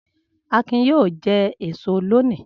Akin yóò jẹ èso lónìí!